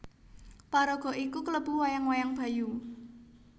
Paraga iki klebu wayang wayang Bayu